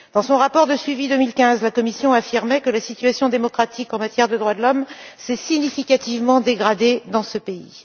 Dans son rapport de suivi 2015, la Commission affirmait que la situation démocratique en matière de droits de l'homme s'est significativement dégradée dans ce pays.